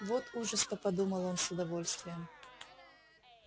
вот ужас то подумал он с удовольствием